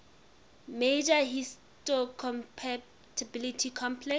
major histocompatibility complex